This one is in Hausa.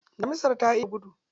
Damisar ta iya gudu.